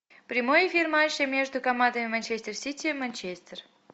прямой эфир матча между командами манчестер сити манчестер